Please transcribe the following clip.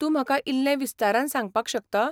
तूं म्हाका इल्लें विस्तारान सांगपाक शकता?